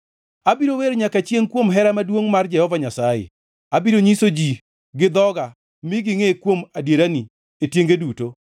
Abiro wer nyaka chiengʼ kuom hera maduongʼ mar Jehova Nyasaye; abiro nyiso ji gi dhoga mi gingʼe kuom adierani e tienge duto.